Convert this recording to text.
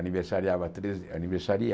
Aniversariava treze de aniversaria